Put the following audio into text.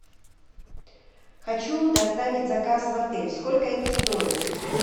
хочу доставить заказ в отель сколько это стоит